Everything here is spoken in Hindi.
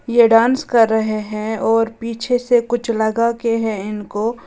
ये डांस कर रहे हैं और पीछे से कुछ लगा के हैं इनको।